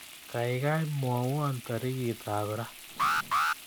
Gaigai mwawon tarikitab Ra